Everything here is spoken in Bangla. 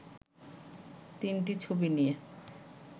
তিনটি ছবি নিয়ে